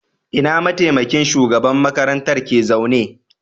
Ina mataimakin shugaban makarantar ke zaune?